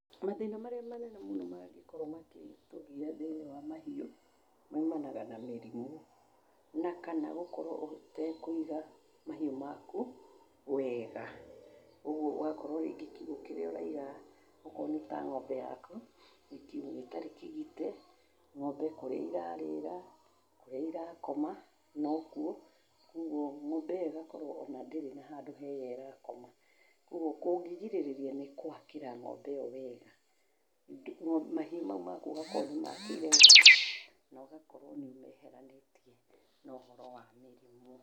Mathĩna marĩa manene mangĩkorwo magĩtũgiya thĩiniĩ wa mahĩũ maumanaga na mĩrimũ na kana gũkorwo ũtekũiga mahĩu maku wega. Ũguo ũgakorwo rĩngĩ kiugũ kĩrĩa ũraiga okorwo nĩ ta ng'ombe yaku nĩ kiugũ gĩtarĩ kĩgite, ng'ombe kũrĩa ĩrarĩra, kũrĩa ĩrakoma nokuo, koguo ng'ombe iyo ĩgakorwo ona ndĩrĩ na handũ hega ĩrakoma. Koguo kũngĩgĩrĩrĩria nĩ gwakĩra ng'ombe ĩyo wega, mahiũ mau maku ũgakorwo nĩ ũmakĩire wega na ũgakorwo nĩ ũmeheranĩtie na ũhoro wa mĩrimũ.